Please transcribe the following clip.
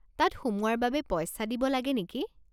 তাত সোমোৱাৰ বাবে পইচা দিব লাগে নেকি?